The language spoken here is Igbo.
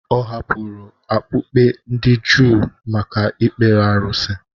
Ọ hapụrụ okpukpe ndị Juu maka ikpere arụsị.